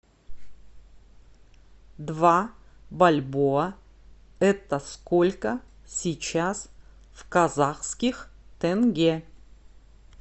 два бальбоа это сколько сейчас в казахских тенге